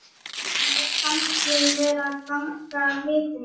Mér fannst ég vera að ganga af vitinu.